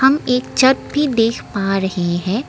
हम एक छत भी देख पा रहे हैं।